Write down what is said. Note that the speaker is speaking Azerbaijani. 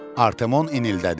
Artimon inildədi.